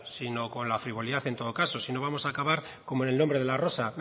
sino con la frivolidad en todo caso si no vamos a acabar como en el nombre de la rosa